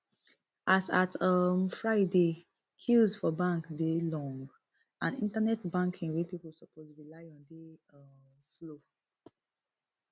as at um friday queues for bank dey long and internet banking wey pipo suppose rely on dey um slow